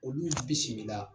Olu ye bisimila